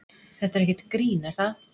Þetta er ekkert grín er það?